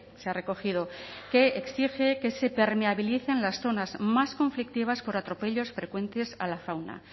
se ha recogido que exige que se permeabilicen las zonas más conflictivas por atropellos frecuentes a la fauna